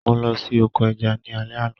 Mo lọ sí oko ẹja ní alẹ́ àná.